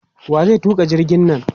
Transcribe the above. Wa zai tuƙa jirgin nan?